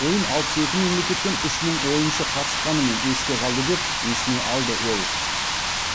ойын алпыс екі мемлекеттен үш мың ойыншы қатысқанымен есте қалды деп есіне алды ол